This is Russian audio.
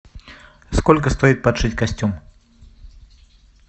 сколько стоит подшить костюм